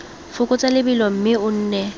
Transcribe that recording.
fokotsa lebelo mme o nne